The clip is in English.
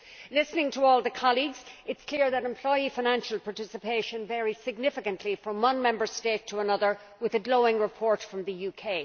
Listening to all the colleagues, it is clear that employee financial participation varies significantly from one Member State to another, with a glowing report from the UK.